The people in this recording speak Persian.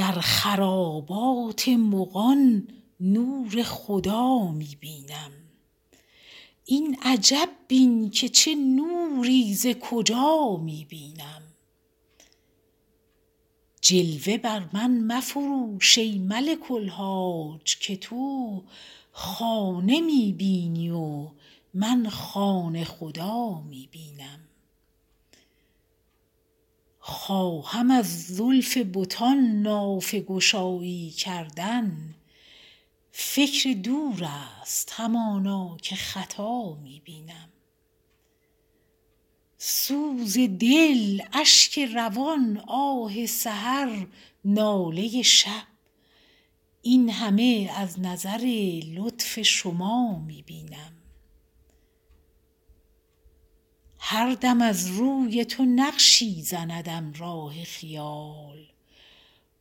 در خرابات مغان نور خدا می بینم این عجب بین که چه نوری ز کجا می بینم جلوه بر من مفروش ای ملک الحاج که تو خانه می بینی و من خانه خدا می بینم خواهم از زلف بتان نافه گشایی کردن فکر دور است همانا که خطا می بینم سوز دل اشک روان آه سحر ناله شب این همه از نظر لطف شما می بینم هر دم از روی تو نقشی زندم راه خیال